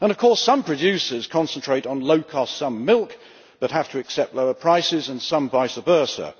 And of course, some producers concentrate on low cost milk but have to accept lower prices, and some vice versa.